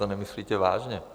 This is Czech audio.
To nemyslíte vážně.